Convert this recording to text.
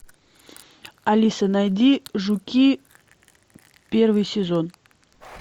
алиса найди жуки первый сезон